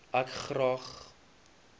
ek graag sans